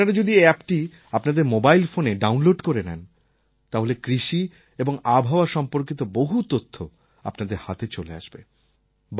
আপনারা যদি এই অ্যাপটি আপনাদের মোবাইল ফোনে ডাউনলোড করে নেন তাহলে কৃষি এবং আবহাওয়া সম্পর্কিত বহু তথ্য আপনার হাতে চলে আসবে